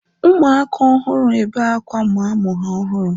ụmụaka ọhụrụ ebe akwa ma amụ ha ọhụrụ